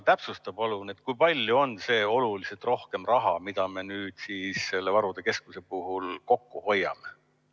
Täpsusta palun, kui palju on see oluliselt rohkem raha, mida me selle varude keskuse puhul kokku hoiame.